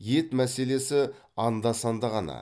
ет мәселесі анда санда ғана